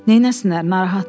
Nəsinlər, narahatdırlar.